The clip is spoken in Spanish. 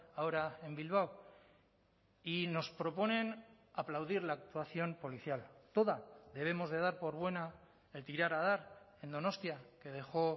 ahora en bilbao y nos proponen aplaudir la actuación policial toda debemos de dar por buena el tirar a dar en donostia que dejó